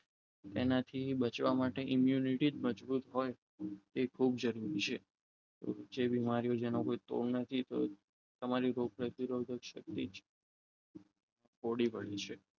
એનાથી બચવા માટે emmunity જ મજબૂત હોય તે ખૂબ જરૂરી છે જે બીમારીઓ જેનો કોઈ નથી તો તમારી રોગ પ્રતિકારક સક્તી બની છે